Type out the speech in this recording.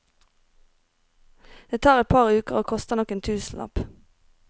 Det tar et par uker og koster nok en tusenlapp.